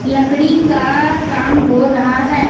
लकड़ी का काम हो रहा है।